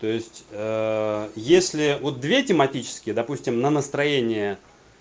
то есть если вот две тематические допустим на настроение